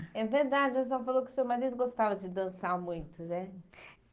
É verdade, a senhora falou que seu marido gostava de dançar muito, né?